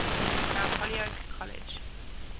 mount holyoke college